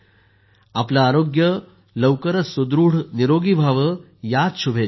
आपले आरोग्य लवकरच सुदृढ निरोगी व्हावेयाच शुभेच्छा